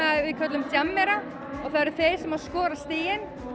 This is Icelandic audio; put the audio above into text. við köllum jammera og það eru þeir sem skora stigin